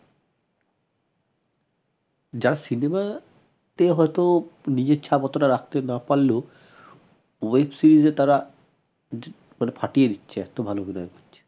যার cinema তে হয়ত নিজের ছাপ অতটা রাখতে না পারলেও web series এ তারা মানে ফাটিয়ে দিচ্ছে এত ভাল অভিনয় করছে